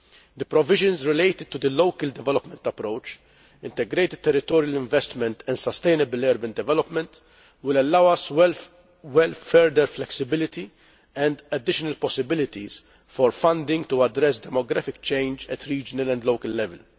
The provisions related to the local development approach, integrated territorial investment and sustainable urban development, will allow further flexibility and additional possibilities for funding to address demographic change at regional and local level.